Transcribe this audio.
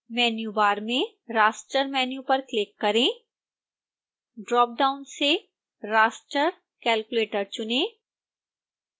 menu bar में raster menu पर click करें ड्रापडाउन से raster calculator चुनें